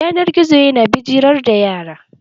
Yanar gizo ya na bijirar da yara.